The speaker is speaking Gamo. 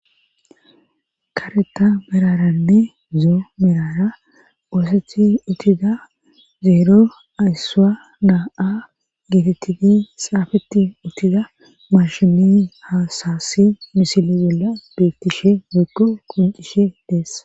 kareta meraranne zoo merara oosethi uttida zeero ayssa naa7a geetettidi saafeti uttida marshimi hasasi misile bolla beettishe degko koncishe dees